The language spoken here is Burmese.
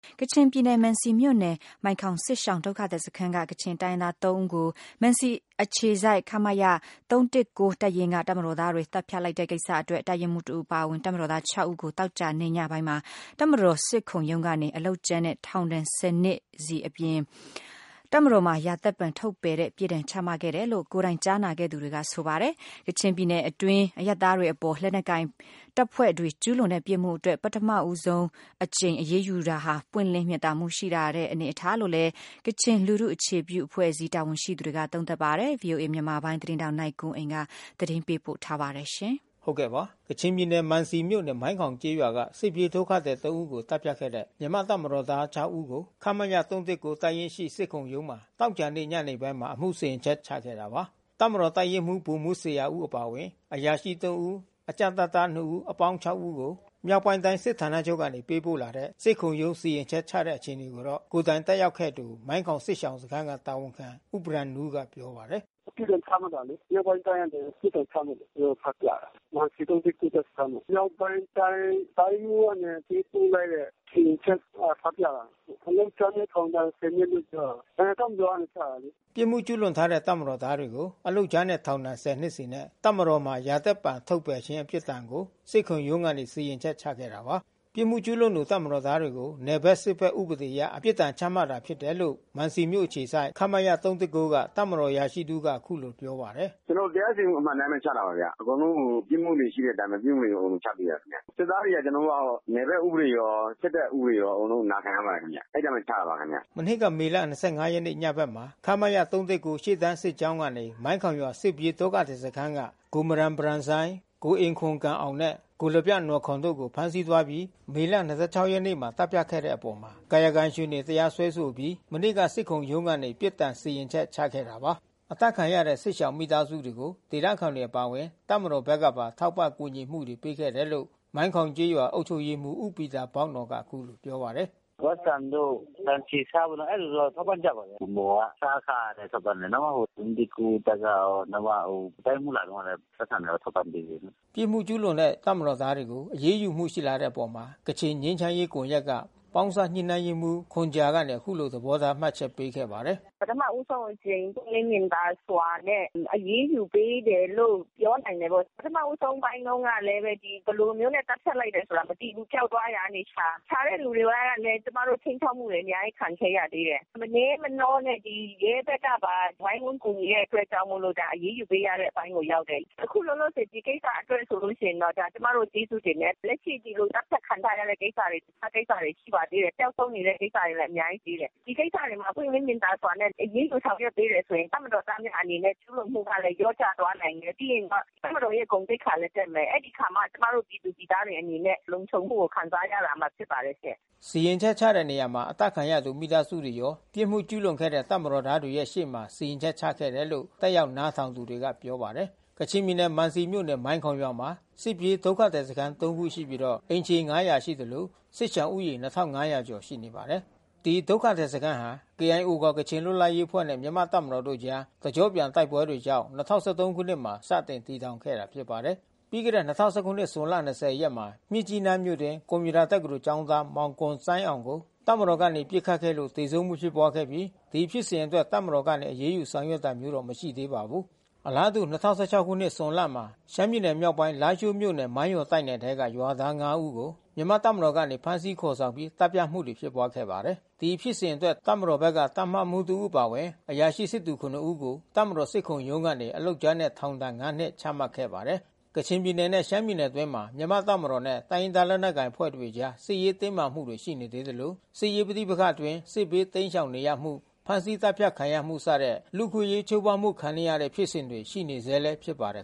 ကချင်ပြည်နယ် မံစီမြို့နယ်၊ မိုင်ခေါင်စစ်ရှောင်ဒုက္ခသည်စခန်းက၊ ကချင်တိုင်းရင်းသား ၃ ဦးကို မံစီအခြေစိုက် ခမရ ၃၁၉ တပ်ရင်းက တပ်မတော်သားတွေ သတ်ဖြတ်လိုက်တဲ့ ကိစ္စအတွက် တပ်ရင်းမှုးတဦးအပါအဝင် တပ်မတော်သား ဦးကို သောကြာနေ့ ညနေပိုင်းမှာ တပ်မတော်စစ်ခုံရုံးကနေ အလုပ်ကြမ်းနှင့် ထောင်ဒဏ် ၁၀ နှစ်စီနဲ့ တပ်မတော်မှ ရာသက်ပန်ထုတ်ပယ်တဲ့ အပြစ်ဒဏ်ချမှတ်ခဲ့တယ်လို့ ကိုယ်တိုင် ကြားနာခဲ့သူတွေကဆိုပါတယ်။ ကချင်ပြည်နယ်အတွင်း အရပ်သားတွေ အပေါ် လက်နက်ကိုင်တပ်ဖွဲ့တွေကျူးလွန်တဲ့ပြစ်မှုအတွက် ပထမဆုံးအကြိမ် အရေးယူလာတာဟာ ပွင့်လင်းမြင်သာမှု ရှိလာတဲ့အနေအထားလို့လည်း ကချင်လူထုအခြေပြုအဖွဲ့အစည်း တာဝန်ရှိသူ တွေက သုံးသပ်ထားပါတယ်။ ဗွီအိုအေမြန်မာပိုင်း သတင်းထောက်နိုင်ကွန်းအိန်ကနေ အခုလိုသတင်းပေးပို့ထားပါတယ်။ ကချင်ပြည်နယ် မံစီမြို့နယ်၊ မိုင်းခေါင်ကျေးရွာက စစ်ပြေးဒုက္ခသည် ၃ ဦိးကို သတ်ဖြတ်ခဲ့တဲ့ မြန်မာ့တပ်မတော်သား ၆ ဦးကို ခမရ ၃၁၉ တပ်ရင်းရှိစစ်ခုံရုံးမှာ သောကြာနေ့ညနေပိုင်းမှာ အမှု စီရင်ချက်ချခဲ့တာပါ။ တပ်မတော်တပ်ရင်းမှူး ဗိုလ်မှူးဇေယျာဦးအပါဝင် အရာရှိ ဦး တပ်ကြပ်တပ်သား ဦး အပေါင်း ဦးကို မြောက်ပိုင်း တိုင်းစစ်ဌာနချုပ်ကနေပေးပို့လာတဲ့ စစ်ခုံရုံးစီရင်ချက်ချတဲ့အခြေအနေကိုတော့ ကိုယ်တိုင်တက်ရောက်ခဲ့သူ မိုင်ခေါင် စစ်ရှောင်စခမ်းတာဝန်ခံဦးဘရမ်နူး က ပြောပါ တယ်။ “ပြစ်ဒဏ်ချမှတ်လိုက်တာလေ။ မြောက်ပိုင်းတိုင်းကနေပြစ်ဒဏ်ချမှတ်တယ်။ သူတို့ ဖတ်ပြတယ်။ မံစီ တပ်စခမ်းမှာ။ မြောက်ပိုင်းတိုင်း တိုင်းမှူးကနေ ပေးပို့လိုက်တဲ့ စီရင်ချက် ဖတ်ပြတာ။ အလုပ်ကြမ်းနဲ့ထောင်ဒဏ် နှစ်လို့ပြောတယ်။ တပ်မတော်ကနေချတာလေ။” ပြစ်မှုကျူးလွန်တဲ့တပ်မတော်သားတွေကို အလုပ်ကြမ်းနှင့် ထောင်ဒဏ် ၁၀ နှစ်စီနဲ့ တပ်မတော်မှ ရာသက်ပန်ထုတ်ပယ်ခြင်း အပြစ်ဒဏ်ကို စစ်ခုံရုံးကစီရင်ချက်ချခဲ့တာပါ။ ပြစ်မှုကျူးလွန်သူတပ်မတော်သားတွေကို နယ်ဘက် စစ်ဘက်ဥပဒေအရ ပြစ်ဒဏ်ချမှတ် တာဖြစ်တယ်လို့ မံစီမြို့ အခြေစိုက် ခမရ ၃၁၉ မှ တပ်မတော်အရာရှိတစ်ဦးက အခုလို ပြောပါတယ်။ “ကျွန်တော်တို့ တရားစီရင်မှု အမှန်အတိုင်းဘဲ ချပါတယ်ခင်ဗျ။ အကုန်လုံးကို ပြစ်မှုတွေ ရှိတဲ့အတိုင်းဘဲ ပြစ်မှုတွေချပေးတာပါခင်ဗျ။ စစ်သားတွေကျွန်တော်တို့ က နယ်ဘက်ဥပဒေရော စစ်တပ်ဥပဒေရောအကုန်လုံးနာခံရပါတယ်ခင်ဗျ။ အဲဒီအတိုင်း ဘဲချပါတယ်ခင်ဗျ။” မနှစ်က မေ ၂၅ ရက်ညဘက်မှာ ခမရ ၃၁၉ ရှေ့တန်း စစ်ကြောင်းကနေ မိုင်ခေါင်ရွာ၊ စစ်ပြေးဒုက္ခသည်စခန်းက ကိုမရန်ဘရန်ဆိုင်း၊ ကိုအင်ခွမ်ဂမ်အောင် နဲ့ ကိုလဗျနော်ခွမ် တို့ကို ဖမ်းဆီးသွားပြီး မေလ ရက်နေ့မှာသတ်ဖြတ်ခဲ့တဲ့အပေါ် ကာယကံရှင်တွေ တရားစွဲဆိုခဲ့ အပြီး မနေ့ကစစ်ခုံရုံးကနေ ပြစ်ဒဏ်စီရင်ချက်ချခဲ့တာပါ။ အသတ်ခံရတဲ့စစ်ရှောင်မိသားစုတွေကို ဒေသခံတွေအပါအဝင် တပ်မတော်ဘက်ကပါ ထောက်ပံ့ကူညီမှုတွေပေးခဲ့တယ်လို့မိုင်ခေါင် ရွာအုပ်ချုပ်ရေးမှူး ဦးပီတာဘောက်နော်က အခုလိုပြောပါတယ်။ “ပိုက်ဆံတို့၊ ဆန်၊ ဆီ၊ ဆားတို့ အဲဒီလိုတော့ထောက်ပံ့ကြပါတယ်။ ဗန်းမော်က အစားအစာတွေထောက်ပံ့ကြတယ်။ တပ်ကရော နောက်မှ တိုင်းမှူးလာတုန်းကလဲ ပိုက်ဆံလာထောက်ပံ့ပေးသေးတယ်။” ပြစ်မှုကျူးလွန်တဲ့ တပ်မတော်သားတွေကို အရေးယူမှုရှိလာတဲ့အပေါ် ကချင်ငြိမ်းချမ်းရေးကွန်ရက်က ပေါင်းစပ်ညှိနှိုင်းရေးမှူး ခွန်ဂျာက အခုလိုသဘောထား မှတ်ချက်ပေးခဲ့ပါတယ်။ “ပထမဦးဆုံးအကြိမ်ပွင့်လင်းမြင်သာစွာနဲ့ အရေးယူပေးတယ်လို့ ပြောနိုင်တယ်ပေါ့။ ပထမဦးဆုံးပိုင်းတုန်းကလဲ ဘယ်လိုမျိုးနဲ့ သတ်ဖြတ် လိုက်တယ်ဆိုတာမသိဘူး။ ပျောက်သွားရာကနေရှာ။ ရှာတဲ့လူတွေအဲတာနဲ့ ကျွန်မတို့ ခြိမ်းခြောက်မှုတွေ အမျာကြီးခံခဲ့ရသေးတယ်။ မနဲမနောနဲ့ ဒီရဲဘက်ကပါ ဝိုင်းဝန်းကူညီတဲ့ အတွက်ကြောင့်မို့လို့ ဒါအရေးယူပေးရတဲ့အပိုင်း ရောက်တယ်။ အခုလောလောဆယ် ဒီကိစ္စအတွက်ဆိုရင်တော့ ကျွန်မတို့ကျေးဇူးတင်တယ်။ လက်ရှိဒီလိုသတ်ဖြတ်ခံထား ရတဲ့ကိစ္စတွေ တခြားကိစ္စတွေရှိပါသေးတယ်။ ပျောက်ဆုံးနေတဲ့ကိစ္စတွေ အများကြီး ရှိသေးတယ်။ ဒီကိစ္စတွေမှာ ပွင့်လင်း မြင်သာစွာနဲ့ အရေးယူဆောင်ရွက်ပေးတယ်ဆိုရင် တပ်မတော်သားများအနေနဲ့ ကျူးလွန် မှုကလဲလျော့ကျသွားနိုင်တယ်။ ပြီးရင်တပ်မတော်ရဲ့ဂုဏ်သိက္ခာလဲတက်မယ်။ အဲဒီအခါမှ ကျွန်မတို့ပြည်သူပြည်သားတွေ အနေနဲ့ လုံခြုံမIကို ခံစားရမှာဖြစ်ပါတယ်ရှင့်။” စီရင်ချက်ချတဲ့နေရာမှာ အသတ်ခံရသူမိသားစုတွေကရော ပြစ်မှုကျူးလွန်တဲ့တပ်မတော်သားတွေရှေ့မှာ စီရင်ချက်ချခဲ့ တယ်လို့ တက်ရောက်နားထောင်သူတွေကပြောပါတယ်။ ကချင်ပြည်နယ် မံစီမြို့နယ် မိုင်ခေါင်ရွာမှာ စစ်ပြေးဒုက္ခသည်စခမ်း ခုရှိပြီး အိမ်ခြေ ခန့်ရှိသလို စစ်ရှောင်ဦးရေ ကျော် ရှိနေပါတယ်။ ဒီဒုက္ခသည်စခမ်းဟာ KIO ခေါ် ကချင်လွတ်လပ်ရေးအဖွဲ့နဲ့မြန်မာ့တပ်မတော်တို့ အကြား တကျော့ပြန်တိုက်ပွဲတွေကြောင့် ၂၀၁၃ခုနှစ်မှာ စတင်တည်ထောင်ခဲ့တာဖြစ်ပါတယ်။ ပြီးခဲ့တဲ့ ၂၀၁၇ ဇွန်လ ၂၀ ရက်မှာ မြစ်ကြီးနားမြို့အတွင်း ကွန်ပျူတာတက္ကသိုလ် ကျောင်းသား ဂွမ်ဆိုင်းအောင်ကို တပ်မတော်ကနေ ပစ်ခတ်ခဲ့လို့ သေဆုံးမှုဖြစ်ပွားခဲ့ပြီး ဒီဖြစ်စဉ်အတွက်တပ်မတော်ကနေ အရေးယူဆောင်ရွက်တာမျိုးမရှိသေးပါဘူး။ အလားတူ ၂၀၁၆ ခုနှစ် ဇွန်လမှာ ရှမ်းပြည်နယ်မြောက်ပိုင်း လားရှိုးမြို့နယ် မိုင်းယော်တိုက်နယ်ထဲက ရွာသား ဦးကို မြန်မာ့တပ်မတော် စစ်ကြောင်းက ဖမ်းဆီးခေါ်ဆောင်ပြီး သတ်ဖြတ်မှုတွေဖြစ်ပွားခဲ့ပါတယ်။ ဒီဖြစ်စဉ်အတွက် တပ်မတော် တပ်မမှူးအပါအဝင် အရာရှိစစ်သည် ဦးကို တပ်မတော် စစ်ခုံရုံးကနေ အလုပ်ကြမ်းနဲ့ ထောင်ဒဏ် နှစ် ချမှတ်ခဲ့ ပါတယ်။ ကချင်ပြည်နယ်နဲ့ရှမ်းပြည်နယ်အတွင်းမှာ မြန်မာ့တပ်မတော်နဲ့ တိုင်းရင်းသားလက်နက်ကိုင်အဖွဲ့တွေအကြား စစ်ရေး တင်းမာမှုတွေ ရှိနေသေးသလို စစ်ရေးပဋိပက္ခအတွင်း စစ်ဘေးတိမ်းရှောင်နေရမှု ဖမ်းဆီးသတ်ဖြတ်ခံရမှု စတဲ့ လူ့အခွင့်အရေးချိုးဖေါက်မှုခံနေရတဲ့ ဖြစ်စဉ်တွေ ရှိနေဆဲဖြစ်ပါတယ်